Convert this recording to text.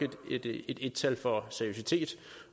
et en tal for seriøsitet